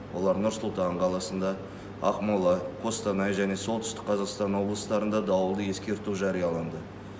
олар нұр сұлтан қаласында ақмола қостанай және солтүстік қазақстан облыстарында дауылды ескерту жарияланды